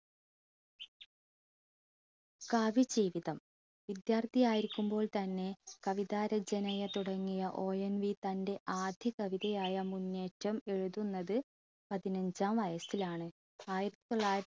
കാവ്യ ജീവിതം വിദ്യാർത്ഥി ആയിരിക്കുമ്പോൾ തന്നെ കവിതാ രചനയെ തുടങ്ങിയ ONV തൻറെ ആദ്യ കവിതയായ മുന്നേറ്റം എഴുതുന്നത് പതിനഞ്ചാം വയസ്സിലാണ് ആയിരത്തി തൊള്ളായിരത്തി